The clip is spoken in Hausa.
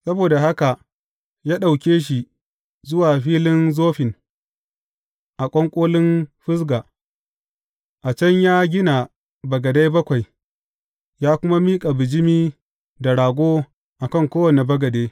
Saboda haka ya ɗauke shi zuwa filin Zofim a ƙwanƙolin Fisga, a can ya gina bagadai bakwai, ya kuma miƙa bijimi da rago a kan kowane bagade.